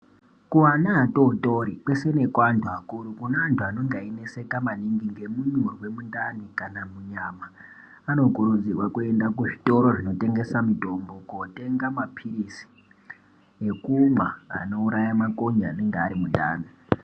Kuana atotori kwese nekuantu akuru kune antu anenge eyineseka maningi ngenda yekuzwe mundani kana munyama anokurudzirwa kuenda kuzvitoro zvinotengesa mitombo kotenga mapilizi ekumwa anouraya makonye anenge ari mundani.